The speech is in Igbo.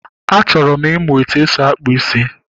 Achọrọ m ịmụ etu esi akpụ ísí